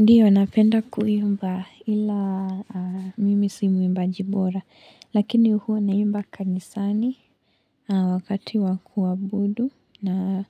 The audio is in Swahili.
Ndiyo, napenda kuimba ila mimi simuimbaji bora, lakini huwa naimba kanisani wakati wakuabudu na